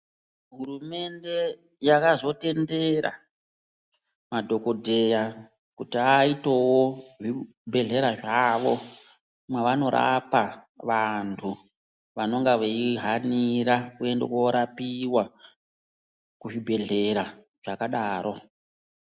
Hurumende yakazo tendera madhokodheya kuti aitewo zvi bhedhlera zvavo mavano rapa vantu vanonga vei hanira kuenda korapiwa ku zvibhedhlera zvakadaro.